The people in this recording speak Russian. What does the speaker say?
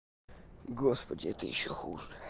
господи это ещё хуже